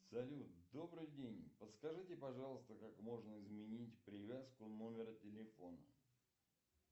салют добрый день подскажите пожалуйста как можно изменить привязку номера телефона